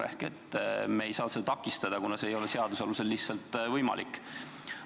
Seega me ei saa uurimist takistada, kuna see ei ole seaduse alusel lihtsalt võimalik.